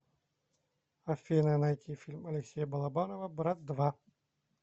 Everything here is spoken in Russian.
афина найти фильм алексея балабанова брат два